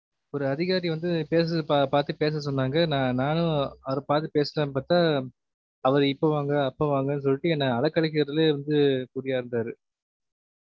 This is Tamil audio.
ஒரு அதிகாரிய வந்து பேசுறத பா~ பாத்து பேச சொன்னாங்க நா~ நானும் அவர பாத்து பேசலாம்னு பாத்தா அவர் இப்ப வாங்க அப்ப வாங்க னு சொல்ட்டு என்ன அழக்கலைக்குறதுலேயே வந்து குறியா இருந்தாரு